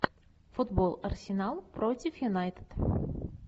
футбол арсенал против юнайтед